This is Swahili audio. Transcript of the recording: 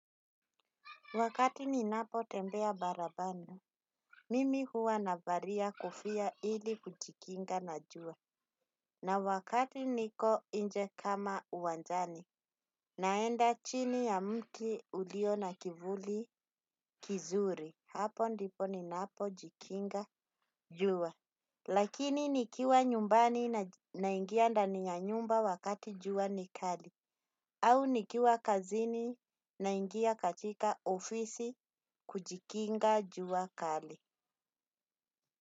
Wakati ninapotembea barabara, mimi huwa navalia kofia ili kujikinga na jua. Na wakati niko nje kama uwanjani, naenda chini ya mti ulio na kivuli kizuri. Hapo ndipo ni napo jikinga juwa. Lakini nikiwa nyumbani naingia ndani ya nyumba wakati jua ni kali. Jua kali.